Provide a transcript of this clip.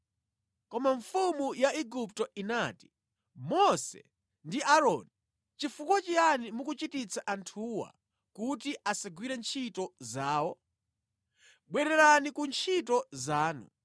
Koma mfumu ya Igupto inati, “Mose ndi Aaroni, chifukwa chiyani mukuchititsa anthuwa kuti asagwire ntchito zawo? Bwererani ku ntchito zanu!”